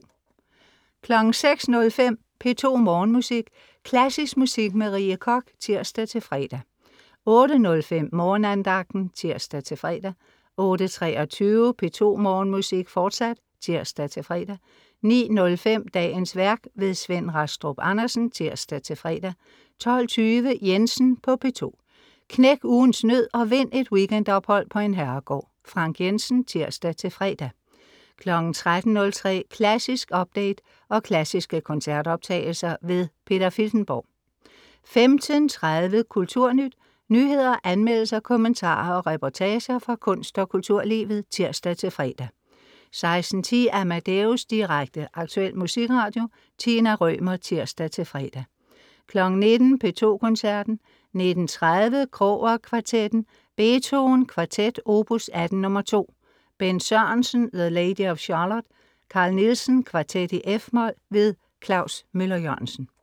06.05 P2 Morgenmusik. Klassisk musik med Rie Koch (tirs-fre) 08.05 Morgenandagten (tirs-fre) 08.23 P2 Morgenmusik, fortsat (tirs-fre) 09.05 Dagens værk. Svend Rastrup Andersen (tirs-fre) 12.20 Jensen på P2. Knæk ugens nød og vind et weekendophold på en herregård. Frank Jensen (tirs-fre) 13.03 Klassisk update. og klassiske koncertoptagelser. Peter Filtenborg 15.30 Kulturnyt. nyheder, anmeldelser, kommentarer og reportager, fra kunst- og kulturlivet (tirs-fre) 16.10 AmadeusDirekte, aktuel musikradio. Tina Rømer (tirs-fre) 19.00 P2 Koncerten. 19.30 Kroger Kvartetten. Beethoven: Kvartet, opus 18 nr. 2. Bent Sørensen: The Lady of Schalott. Carl Nielsen: Kvartet, f-mol. Klaus Møller-Jørgensen